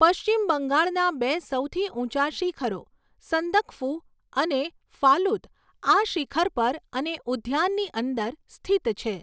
પશ્ચિમ બંગાળના બે સૌથી ઊંચા શિખરો, સંદકફુ અને ફાલુત, આ શિખર પર અને ઉદ્યાનની અંદર સ્થિત છે.